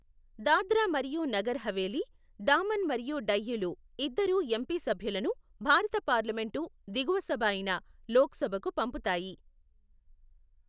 దాద్రా మరియు నగర్ హవేలీ, డామన్ మరియు డయ్యూలు ఇద్దరు ఎంపీ సభ్యులను భారత పార్లమెంటు దిగువ సభ అయిన లోక్సభకు పంపుతాయి.